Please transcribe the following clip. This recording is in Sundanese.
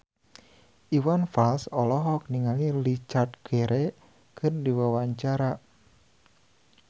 Iwan Fals olohok ningali Richard Gere keur diwawancara